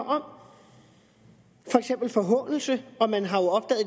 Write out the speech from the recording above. om for eksempel forhånelse og man har